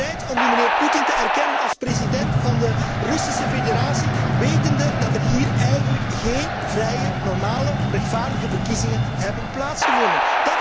Bent u bereid om die mijnheer Poetin te erkennen als president van de Russische Federatie, wetende dat er hier eigenlijk geen vrije, normale, rechtvaardige verkiezingen hebben plaatsgevonden?